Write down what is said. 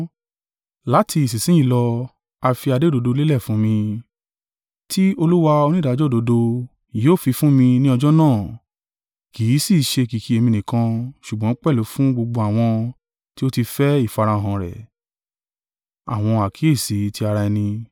Láti ìsinsin yìí lọ a fi adé òdodo lélẹ̀ fún mi, tí Olúwa onídàájọ́ òdodo, yóò fífún mi ni ọjọ́ náà kì í sì í ṣe kìkì èmi nìkan ṣùgbọ́n pẹ̀lú fún gbogbo àwọn tí ó ti fẹ́ ìfarahàn rẹ̀.